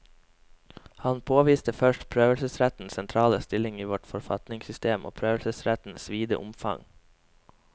Han påviste først prøvelsesrettens sentrale stilling i vårt forfatningssystem og prøvelsesrettens vide omfang.